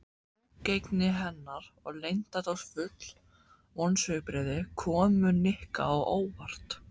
Ágengni hennar og leyndardómsfull svipbrigði komu Nikka á óvart.